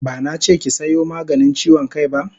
Bana che ki sayo maganin chiwon kai ba!